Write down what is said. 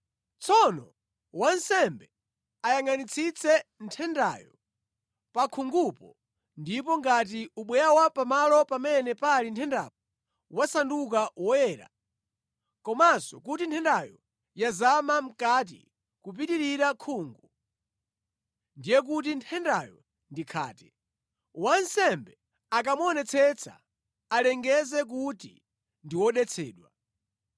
Tsono wansembe ayangʼanitsitse nthendayo pa khungupo, ndipo ngati ubweya wa pamalo pamene pali nthendapo wasanduka woyera, komanso kuti nthendayo yazama mʼkati kupitirira khungu, ndiye kuti nthendayo ndi khate. Wansembe akamuonetsetsa alengeze kuti ndi wodetsedwa.